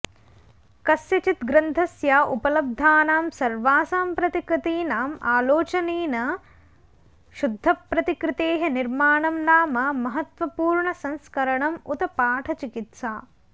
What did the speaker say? कस्यचित् ग्रन्थस्य उपलब्धानां सर्वासां प्रतिकृतीनाम् आलोचनेन शुद्धप्रतिकृतेः निर्माणं नाम महत्त्वपूर्णसंस्करणम् उत पाठचिकित्सा